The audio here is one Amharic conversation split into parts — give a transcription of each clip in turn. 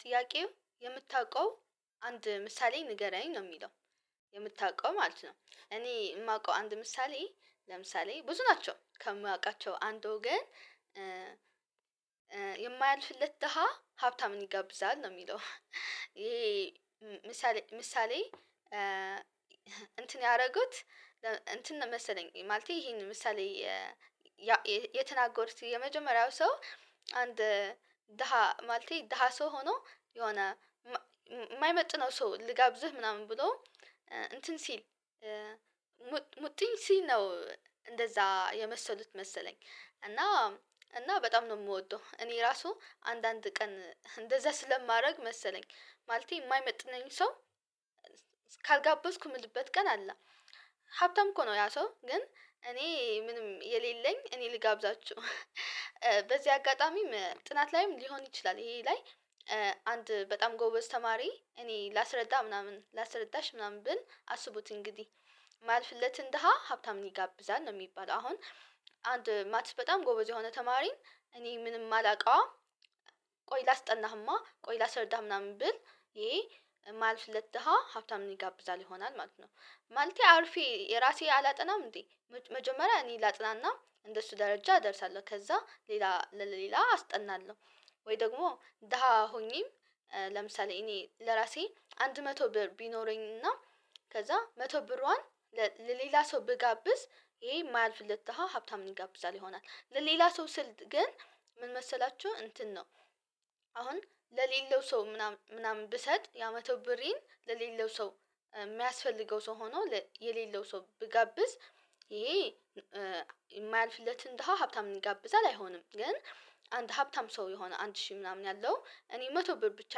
ጥያቄው የምታውቀው አንድ ምሳሌ ንገረኝ ነው የሚለው የምታውቀው ማለት ነው። እኔ የማውቀው አንድ ምሳሌ ለምሳሌ ብዙ ናቸው ከማውቃቸው አንዱ ግን የማያልፍለት ደሃ ሀብታም ይጋብዛል ነው የሚለው። ይሄ ምሳሌ ምሳሌ እንትን ያደረጉት እንትን መሰለኝ ማለቴ ይሄን ምሳሌ የተናገሩት የመጀመሪያው ሰው አንድ ደሃ ማለቴ ደሃ ሰው ሆኖ የሆነ የማይመጥነው ሰው ልጋብዝህ ምናምን ብሎ እንትን ሲል ሙጥኝ ሲል ነው እንደዛ የመሰሉት መሰለኝ። እና እና በጣም ነው የምወደው እኔ ራሱ አንዳንድ ቀን እንደዛ ስለማደርግ መሰለኝ ማለቴ የማይመጥነኝ ሰው ካልጋበዝኩ የምልበት ቀን አለ። ሀብታም እኮ ነው ያ ሰው ግን እኔ ምንም የሌለኝ እኔ ልጋብዛችሁ በዚህ አጋጣሚም ጥናት ላይም ሊሆን ይችላል። ይሄ ላይ አንድ በጣም ጎበዝ ተማሪ እኔ ላስረዳ ምናምን ላስረዳሽ ምናምን ብል አስቡት እንግዲህ የማልፍለትን ደሃ ሀብታም ይጋብዛል ነው። የሚባል አሁን አንድ ማትስ በጣም ጎበዝ የሆነ ተማሪን እኔ ምንም ማላውቀዋ ቆይ ላስጠናህማ ቆይ ላሰርዳህ ምናምን ብል ይሄ የማያልፍለት ደሃ ሀብታም ይጋብዛል ይሆናል ማለት ነው። ማለቴ አርፌ የራሴ አላጠናም እንዴ መጀመሪያ እኔ ላጥናና እንደሱ ደረጃ እደርሳለሁ ከዛ ሌላ ለሌላ አስጠናለሁ። ወይ ደግሞ ደሃ ሆኜም ለምሳሌ እኔ ለራሴ አንድ መቶ ብር ቢኖረኝና ከዛ መቶ ብርዋን ለሌላ ሰው ብጋብዝ ይሄ የማያልፍለት ደሃ ሀብታም ይጋብዛል ይሆናል ለሌላ ሰው ስል ግን። ምን መሰላችሁ እንትን ነው አሁን ለሌለው ሰው ምናምን ምናምን ብሰጥ ያ መቶ ብሬን ለሌለው ሰው የሚያስፈልገው ሰው ሆኖ የሌለው ሰው ብጋብዝ ይሄ የማያልፍለትን ደሃ ሀብታም ይጋብዛለን አይሆንም። ግን አንድ ሀብታም ሰው የሆነ አንድ ሺህ ምናምን ያለው እኔ መቶ ብር ብቻ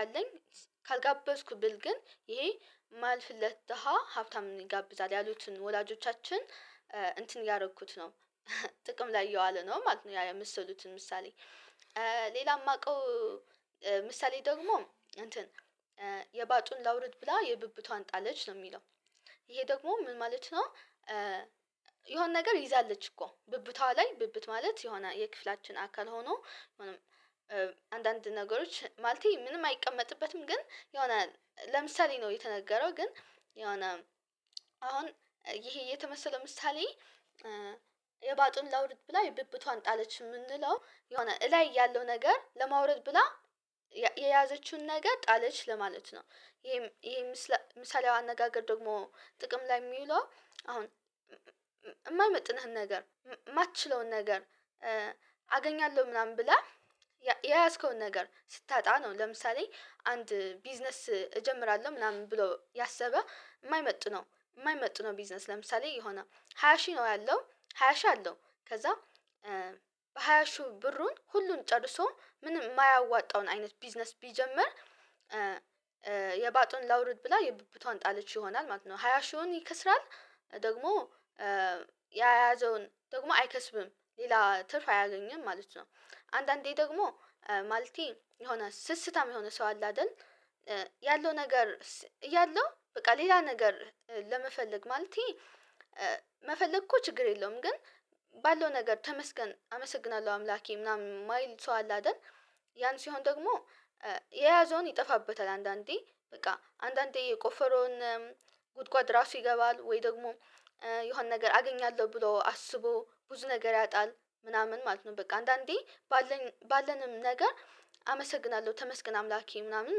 ያለኝ ካልጋበዝኩት ብል ግን ይሄ የማያልፍለት ደሃ ሀብታም ይጋብዛል ያሉትን ወላጆቻችን እንትን እያደረኩት ነው ጥቅም ላይ እየዋለ ነው ማለት ነው። ያ የመሰሉትን ምሳሌ ሌላ የማውቀው ምሳሌ ደግሞ እንትን የባጡን ላውርድ ብላ የብብቷን ጣለች ነው የሚለው ይሄ ደግሞ ምን ማለት ነው? የሆነ ነገር ይዛለች እኮ ብብቷ ላይ ብብት ማለት የሆነ የክፍላችን አካል ሆኖ አንዳንድ ነገሮች ማለቴ ምንም አይቀመጥበትም ግን የሆነ ለምሳሌ ነው የተነገረው ግን የሆነ አሁን ይሄ የተመሰለ ምሳሌ የባጡን ላውርድ ብላ የብብቷን ጣለች የምንለው የሆነ እላይ ያለው ነገር ለማውረድ ብላ የያዘችውን ነገር ጣለች ለማለት ነው። ይሄም ይሄ ምሳሌያዊ አነጋገር ደግሞ ጥቅም ላይ የሚለው አሁን የማይመጥንህን ነገር የማትችለውን ነገር አገኛለሁ ምናምን ብላ የያዝከውን ነገር ስታጣ ነው ለምሳሌ አንድ ቢዝነስ እጀምራለሁ ምናምን ብሎ ያሰበ የማይመጥነው የማይመጥነው ቢዝነስ ለምሳሌ የሆነ ሃያ ሺ ነው ያለው ሃያ ሺ አለው ከዛ በሃያ ሺው ብሩን ሁሉን ጨርሶ ምንም የማያዋጣውን አይነት ቢዝነስ ቢጀምር የባጡን ላውርድ ብላ የቡብቷን ጣለቼ ይሆናል ማለት ነው ሃያ ሺውን ይከስራል። ደግሞ የያዘውን ደግሞ አይከስብም ሌላ ትርፍ አያገኝም ማለት ነው። አንዳንዴ ደግሞ ማለቴ የሆነ ስስታም የሆነ ሰው አለ አይደል ያለው ነገር እያለሁ በቃ ሌላ ነገር ለመፈለግ ማለቴ መፈለግ እኮ ችግር የለውም ግን ባለው ነገር ተመስገን አመሰግናለሁ አምላኬ ምናምን ማይል ሰው አለ አይደል። ያን ሲሆን ደግሞ የያዘውን ይጠፋበታል አንዳንዴ በቃ አንዳንዴ የቆፈረውን ጉድጓድ ራሱ ይገባል ወይ ደግሞ የሆነ ነገር አገኛለሁ ብሎ አስቦ ብዙ ነገር ያጣል ምናምን ማለት ነው በቃ አንዳንዴ ባለን ባለንም ነገር አመሰግናለሁ ተመስገን አምላኬ ምናምን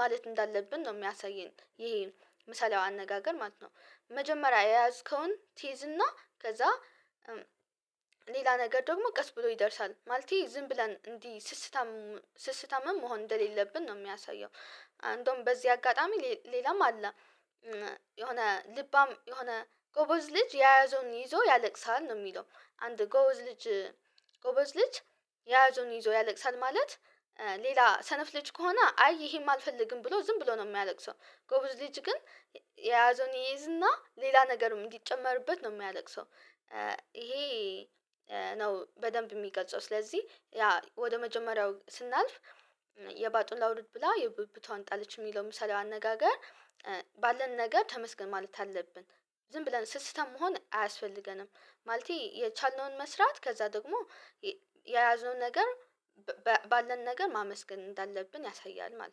ማለት እንዳለብን ነው። የሚያሳየን ይሄ ምሳሌያዊ አነጋገር ማለት ነው መጀመሪያ የያዝከውን ትይዝና ከዛ ሌላ ነገር ደግሞ ቀስ ብሎ ይደርሳል ማለቴ ዝም ብለን እንዲህ ስስታም ስስታምም መሆን እንደሌለብን ነው የሚያሳየው። እንደውም በዚህ አጋጣሚ ሌላም አለ የሆነ ልባም የሆነ ጎበዝ ልጅ ያዘውን ይዞ ያለቅሳል ነው የሚለው አንድ ጎበዝ ልጅ ጎበዝ ልጅ የያዘውን ይዞ ያለቅሳል ማለት ሌላ ሰነፍ ልጅ ከሆነ አይ ይሄማ አልፈልግም ብሎ ዝም ብሎ ነው የሚያለቅሰው ጎብዝ ልጅ ግን የያዘውን ይይዝና ሌላ ነገርም እንዲጨመርበት ነው የሚያለቅሰው። ይሄ ነው በደንብ የሚገልጸው ስለዚህ ያ ወደ መጀመሪያው ስናልፍ የባጡን ላውርድ ብላ የብብቷን ጣልች የሚለው ምሳሌው አነጋገር ባለን ነገር ተመስገን ማለት አለብን። ዝም ብለን ስስታም መሆን አያስፈልገንም ማለቴ የቻልነውን መስራት ከዛ ደግሞ የያዘውን ነገር ባለን ነገር ማመስገን እንዳለብን ያሳያል ማለት ነው